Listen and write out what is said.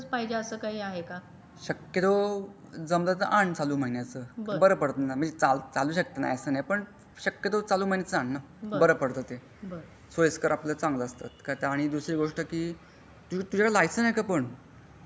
शकतोय जमलं तर आन चालू महिन्याचा बरं पडत म्हणजे चालू शकते असा नाही पण शकतो आन चालू महिन्यचा बारा पडते ते सोयीस्कर आपला चांगला असता ते आणि दुसरी गोष्ट अशी कि. तुझा कडे लेसन्स आहे काय पण?